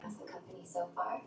Af hverju ertu svona fúll?